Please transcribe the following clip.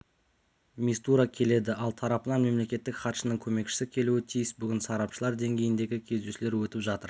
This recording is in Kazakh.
мистура келеді ал тарапынан мемлекеттік хатшының көмекшісі келуі тиіс бүгін сарапшылар деңгейіндегі кездесулер өтіп жатыр